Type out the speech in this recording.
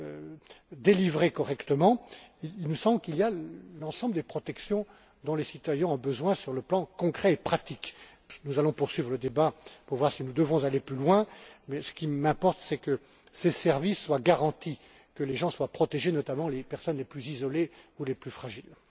produire correctement, que tous ces textes assurent l'ensemble des protections dont les citoyens ont besoin sur le plan concret et pratique. Nous allons donc poursuivre le débat pour voir si nous devons aller plus loin, mais ce qui m'importe, c'est que ces services soient garantis, que les gens soient protégés, notamment les personnes les plus isolées ou les plus fragiles.